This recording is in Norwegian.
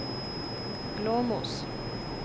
Glåmos